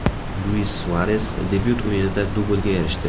Luis Suares debyut o‘yinida dublga erishdi.